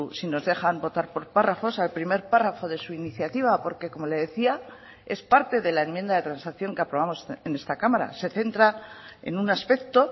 si nos dejan votar por párrafos al primer párrafo de su iniciativa porque como le decía es parte de la enmienda de transacción que aprobamos en esta cámara se centra en un aspecto